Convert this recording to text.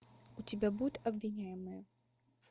у тебя будет обвиняемая